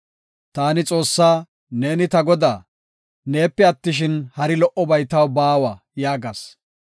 Taani Xoossaa, “Neeni ta Godaa; neepe attishin, hari lo77obay taw baawa” yaagas.